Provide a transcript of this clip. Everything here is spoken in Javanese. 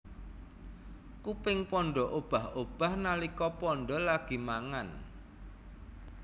Kuping panda obah obah nalika panda lagi mangan